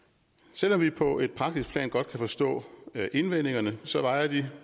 selv om vi på et praktisk plan godt kan forstå indvendingerne så vejer de